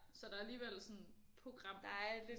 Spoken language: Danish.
Så der er alligevel sådan program